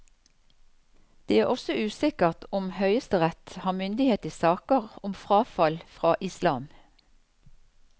Det er også usikkert om høyesterett har myndighet i saker om frafall fra islam.